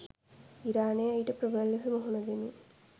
ඉරානය ඊට ප්‍රබල ලෙස මුහුණ දෙමින්